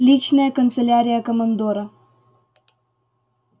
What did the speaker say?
личная канцелярия командора